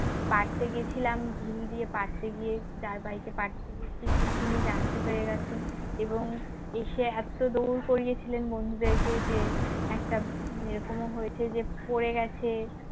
পারতে গেছিলাম ঢিল দিয়ে পারতে গিয়ে যার বাড়িতে পারতে গেছি তিনি জানতে পেরে গেছেন এবং এসে এত দৌড় করিয়েছিলেন বন্ধুদেরকে যে একটা এরকমও হয়েছে যে পড়ে গেছে